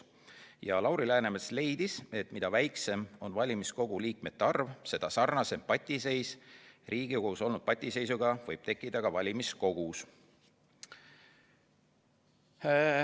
Ja Lauri Läänemets leidis, et mida väiksem on valimiskogu liikmete arv, seda sarnasem patiseis Riigikogus olnud patiseisuga võib tekkida ka valimiskogus.